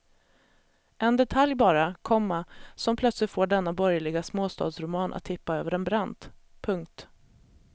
En detalj bara, komma som plötsligt får denna borgerliga småstadsroman att tippa över en brant. punkt